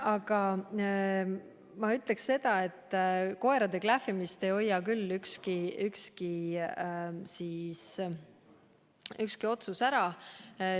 Aga ma ütleksin seda, et koerade klähvimist ei hoia küll ükski otsus ära.